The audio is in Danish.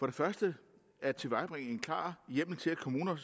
det første at tilvejebringe en klar hjemmel til at kommuner